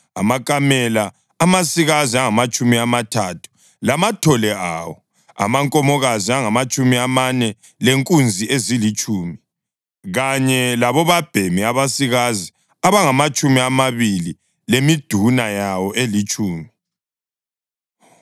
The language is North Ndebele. amakamela amasikazi angamatshumi amathathu lamathole awo; amankomokazi angamatshumi amane lenkunzi ezilitshumi; kanye labobabhemi abasikazi abangamatshumi amabili lemiduna yawo elitshumi.